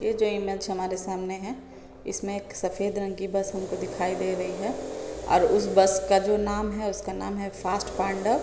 ये जो इमेज हमारे सामने हैं इसमें एक सफ़ेद रंग की बस हमको दिखाई दे रही है और बस का जो नाम हैं उसका नाम हैं फ़ास्ट पांडव।